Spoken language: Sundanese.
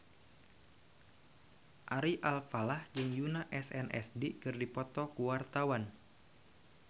Ari Alfalah jeung Yoona SNSD keur dipoto ku wartawan